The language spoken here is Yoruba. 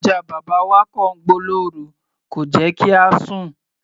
Ajá bàbá wa kọ̀ ń gbó lórú, kò jẹ́ kí a sùn.